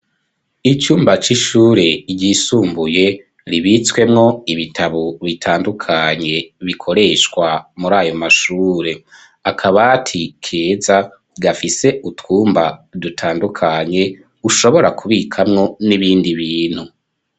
Icumba c'ishure ryisumbuye ribitswemwo ibitabo bitandukanye bikoreshwa muri ayo mashure akabati keza gafise utwumba dutandukanye ushobora kubikamwo n'ibindi bintu.